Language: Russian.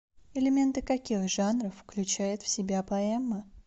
элементы каких жанров включает в себя поэма